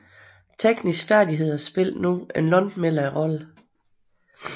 Tekniske færdigheder spillede nu en langt mindre rolle